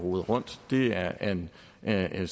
hvad det